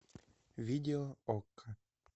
видео окко